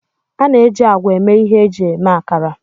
A na-eji ágwà eme ihe iji mee akara.